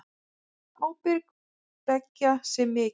Ábyrgð beggja sé mikil.